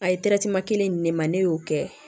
A ye kelen di ne ma ne y'o kɛ